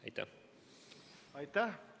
Aitäh!